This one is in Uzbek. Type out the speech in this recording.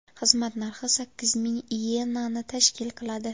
Xizmat narxi sakkiz ming iyenani tashkil qiladi.